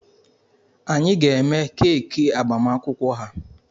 Anyị ga-eme keeki agbamakwụkwọ ha.